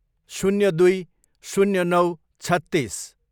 शून्य दुई, शून्य नौ, छत्तिस